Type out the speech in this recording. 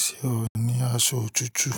Ṣé o ní aṣọ òtútù?